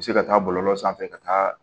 U bɛ se ka taa bɔlɔlɔ sanfɛ ka taa